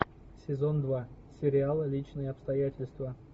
сезон два сериал личные обстоятельства